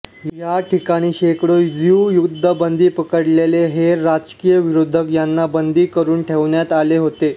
या ठिकाणी शेकडो ज्यू युद्धबंदी पकडलेले हेर राजकिय विरोधक यांना बंदी करून ठेवण्यात आले होते